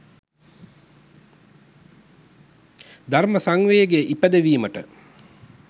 ධර්ම සංවේගය ඉපැදවීමට